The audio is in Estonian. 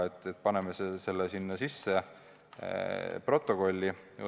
Et paneme selle sinna protokolli – alguses püüti seda kuidagi niimoodi maha müüa.